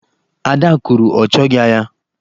Ada kwuru, ọ choghị agha.